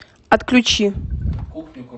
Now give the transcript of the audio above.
отключи